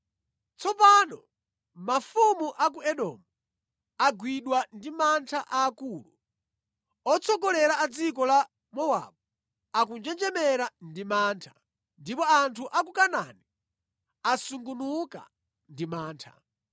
Tsopano mafumu a ku Edomu agwidwa ndi mantha aakulu, otsogolera a dziko la Mowabu akunjenjemera ndi mantha, ndipo anthu a ku Kanaani asungunuka ndi mantha.